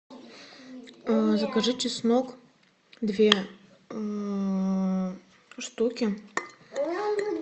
закажи чеснок две штуки